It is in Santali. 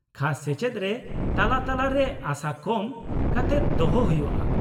-ᱠᱷᱟᱥ ᱥᱮᱪᱮᱫ ᱨᱮ ᱛᱟᱞᱟ ᱛᱟᱞᱟᱨᱮ ᱟᱥᱟ ᱠᱚᱢ ᱠᱟᱛᱮᱫ ᱫᱚᱦᱚ ᱦᱩᱭᱩᱜᱼᱟ ᱾